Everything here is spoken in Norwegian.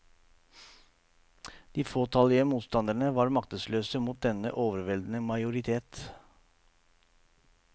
De fåtallige motstanderne var maktesløse mot denne overveldende majoritet.